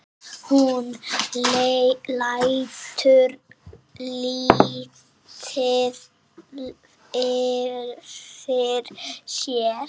Hún lætur lítið yfir sér.